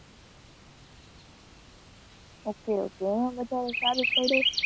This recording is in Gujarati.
Okay okay એમાં વધાર સારું પડે.